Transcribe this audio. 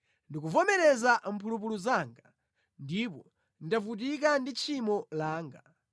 Ndikuvomereza mphulupulu zanga; ndipo ndavutika ndi tchimo langa.